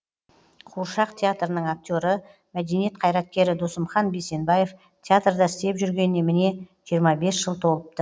қуыршақ театрының актері мәдениет қайраткері досымхан бейсенбаев театрда істеп жүргеніне міне жиырма бес жыл толыпты